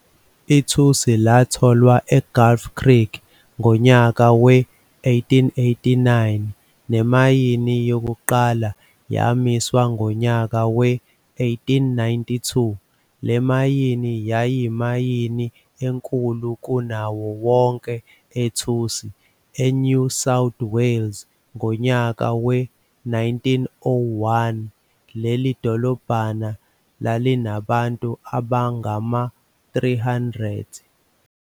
Ithusi latholwa eGulf Creek ngonyaka we-1889 nemayini yokuqala yamiswa ngonyaka we-1892. Le mayini yayiyimayini enkulu kunawo wonke ethusi eNew South Wales ngonyaka we-1901 leli dolobhana lalinabantu abangama-300.